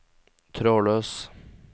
trådløs